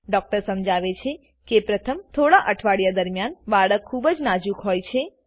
doctor સમજાવે છે કે પ્રથમ થોડા અઠવાડિયા દરમિયાન બાળક ખૂબ જ હોય નાજુક છે